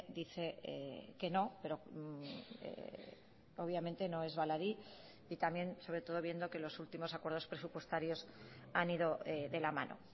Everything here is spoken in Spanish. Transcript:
dice que no pero obviamente no es baladí y también sobre todo viendo que los últimos acuerdos presupuestarios han ido de la mano